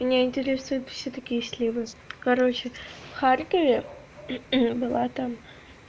меня интересует всё-таки если вы короче в харькове была там